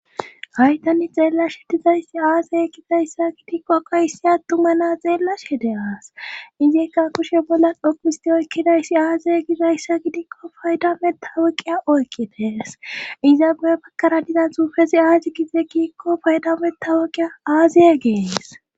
Haytani xeellash shetizayssi aazey kidayssa gitikko qayssi attuma naa xeellash hede aas izikka kushe bolla dhokisti oykkidayssi aazey gizayssa gidikko paydametawuqiya oykkites iza bu7e bakkara dizan xuufezi aaji gize kiikko paydameta wokqiya aaziye gees